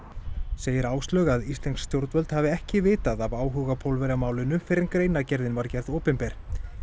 segir Áslaug að íslensk stjórnvöld hafi ekki vitað af áhuga Pólverja á málinu fyrr en greinargerðin var gerð opinber